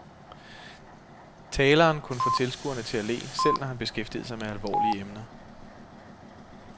Taleren kunne få tilskuerne til at le, selv når han beskæftigede sig med alvorlige emner.